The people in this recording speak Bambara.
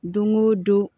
Don o don